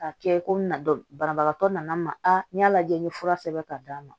K'a kɛ komi banabagatɔ nana n ma n y'a lajɛ n ye fura sɛbɛn ka d'a ma